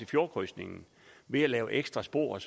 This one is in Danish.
fjordkrydsningen ved at lave ekstra spor